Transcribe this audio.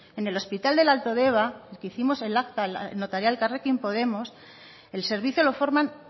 en el hospital del alto deba el que hicimos el acta notarial elkarrekin podemos el servicio lo forman